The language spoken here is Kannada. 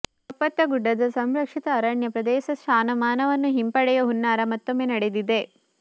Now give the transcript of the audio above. ಕಪ್ಪತ್ತಗುಡ್ಡದ ಸಂರಕ್ಷಿತ ಅರಣ್ಯ ಪ್ರದೇಶ ಸ್ಥಾನಮಾನವನ್ನು ಹಿಂಪಡೆಯುವ ಹುನ್ನಾರ ಮತ್ತೊಮ್ಮೆ ನಡೆದಿದೆ